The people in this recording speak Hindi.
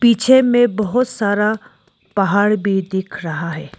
पीछे में बहुत सारा पहाड़ भी दिख रहा है।